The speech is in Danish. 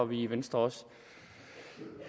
vi i venstre også